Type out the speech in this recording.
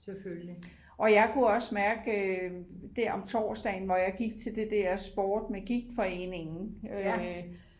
og jeg kunne også mærke der om torsdagen hvor jeg gik til det der sport med gigtforeningen